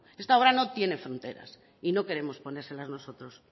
esta obra no tiene fronteras y no queremos ponérsela nosotros